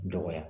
Dɔgɔya